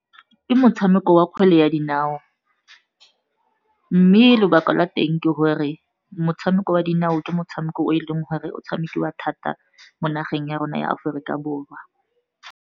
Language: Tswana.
Ke motshameko wa kgwele ya dinao, mme lobaka lwa teng ke gore motshameko wa dinao, ke motshameko o e leng gore o tshamekiwa thata mo nageng ya rona ya Aforika Borwa.